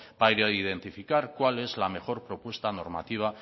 para identificar cuál es la mejor propuesta normativa